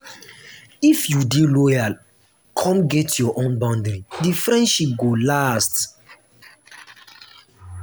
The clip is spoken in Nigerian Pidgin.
if you dey loyal come get your own boundary di friendship go last.